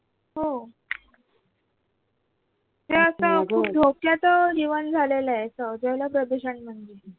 हो हे असं खूप धोक्याच जीवन झालेलं आहे जलप्रदूषण म्हणजे